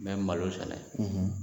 N bɛ malo sɛnɛ